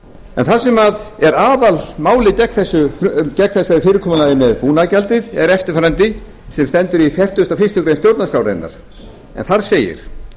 en það sem er aðalmálið gegn fyrirkomulaginu um búnaðargjaldið er eftirfarandi sem stendur í fertugustu og fyrstu grein stjórnarskrárinnar en þar segir